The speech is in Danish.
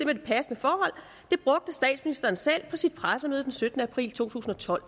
det passende forhold brugte statsministeren selv på sit pressemøde den syttende april to tusind og tolv